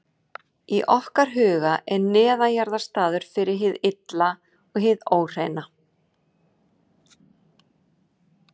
Í okkar huga er neðanjarðar staður fyrir hið illa og hið óhreina.